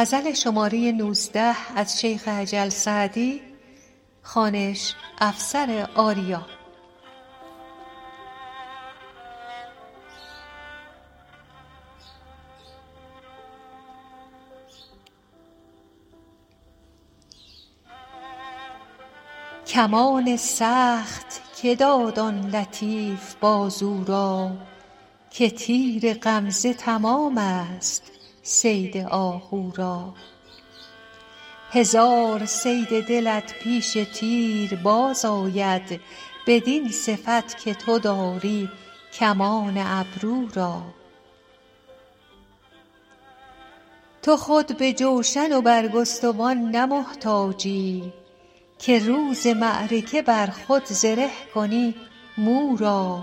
کمان سخت که داد آن لطیف بازو را که تیر غمزه تمام ست صید آهو را هزار صید دلت پیش تیر باز آید بدین صفت که تو داری کمان ابرو را تو خود به جوشن و برگستوان نه محتاجی که روز معرکه بر خود زره کنی مو را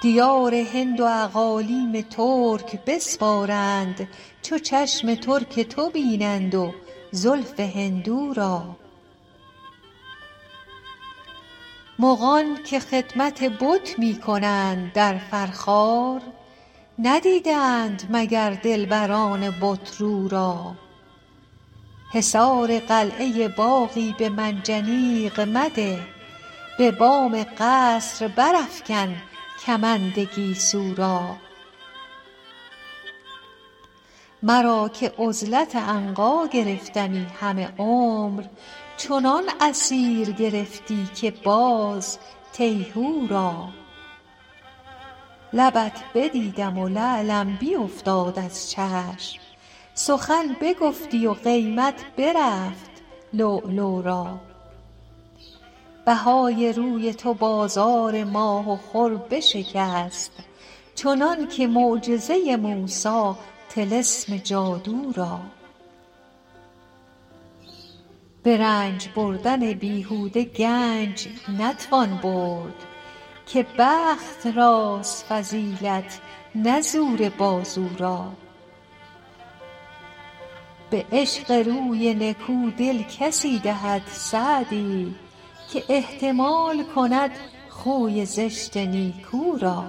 دیار هند و اقالیم ترک بسپارند چو چشم ترک تو بینند و زلف هندو را مغان که خدمت بت می کنند در فرخار ندیده اند مگر دلبران بت رو را حصار قلعه باغی به منجنیق مده به بام قصر برافکن کمند گیسو را مرا که عزلت عنقا گرفتمی همه عمر چنان اسیر گرفتی که باز تیهو را لبت بدیدم و لعلم بیوفتاد از چشم سخن بگفتی و قیمت برفت لؤلؤ را بهای روی تو بازار ماه و خور بشکست چنان که معجز موسی طلسم جادو را به رنج بردن بیهوده گنج نتوان برد که بخت راست فضیلت نه زور بازو را به عشق روی نکو دل کسی دهد سعدی که احتمال کند خوی زشت نیکو را